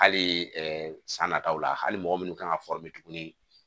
Hali san nataw la hali mɔgɔ minnu kan ka tuguni